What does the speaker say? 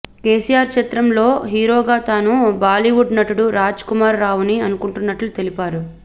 కేసీఆర్ చిత్రం లో హీరోగా తాను బాలీవుడ్ నటుడు రాజ్ కుమార్ రావుని అనుకుంటున్నట్లు తెలిపారు